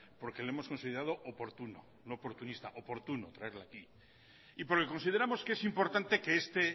porque le hemos considerado oportuno no oportunista traerlo aquí y porque consideramos que es importante que este